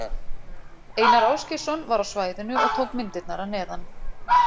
Einar Ásgeirsson var á svæðinu og tók myndirnar að neðan.